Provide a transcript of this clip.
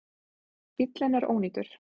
Bíllinn er ónýtur